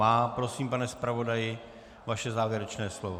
Má. Prosím, pane zpravodaji, vaše závěrečné slovo.